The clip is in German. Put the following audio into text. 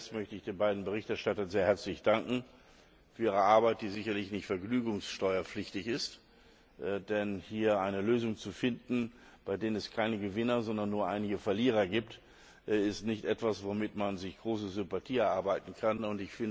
Zuerst möchte ich den beiden Berichterstattern sehr herzlich für ihre Arbeit danken, die sicher nicht vergnügungssteuerpflichtig ist, denn hier eine Lösung zu finden, bei der es keine Gewinner, sondern nur einige Verlierer gibt, ist nicht etwas, womit man sich große Sympathien erwerben kann.